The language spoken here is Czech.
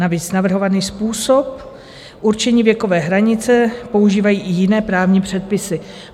Navíc navrhovaný způsob určení věkové hranice používají i jiné právní předpisy.